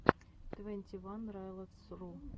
твенти ван райлотс ру